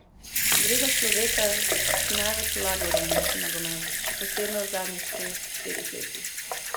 Gre za človeka, ki največ vlaga v romunski nogomet, še posebno v zadnjih treh, štirih letih.